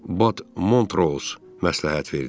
Bad Montrose məsləhət verdi.